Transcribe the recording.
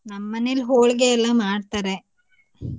ನಮ್ಮ ಮನೇಲಿ ಹೋಳಿಗೆ ಎಲ್ಲ ಮಾಡ್ತಾರೆ .